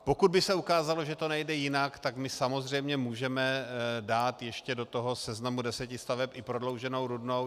Pokud by se ukázalo, že to nejde jinak, tak my samozřejmě můžeme dát ještě do toho seznamu deseti staveb i prodlouženou Rudnou.